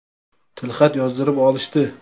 Tilxat yozdirib olishdi.